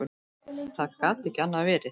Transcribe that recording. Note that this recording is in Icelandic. Það gat ekki annað verið.